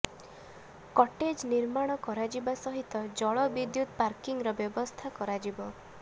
cottage ନିର୍ମାଣ କରାଯିବା ସହିତ ଜଳ ବିଦ୍ୟୁତ ପାର୍କିଂର ବ୍ୟବସ୍ଥା କରାଯିବ